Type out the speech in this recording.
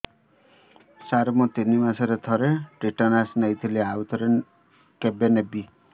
ସାର ମୁଁ ତିନି ମାସରେ ଥରେ ଟିଟାନସ ନେଇଥିଲି ଆଉ ଥରେ କେବେ ନେବି